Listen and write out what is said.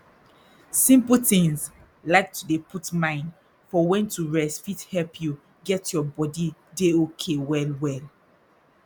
simple tins like to dey put mind for wen to rest fit help you get your body dey okay well well